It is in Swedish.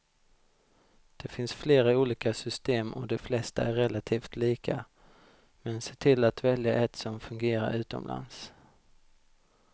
Det finns flera olika system och de flesta är relativt lika, men se till att välja ett som fungerar utomlands.